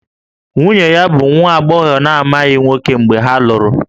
Nwunye ya bụ nwa agbọghọ na-amaghị nwoke mgbe ha lụrụ